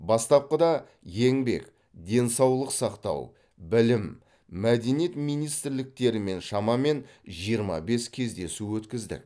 бастапқыда еңбек денсаулық сақтау білім мәдениет министрліктерімен шамамен жиырма бес кездесу өткіздік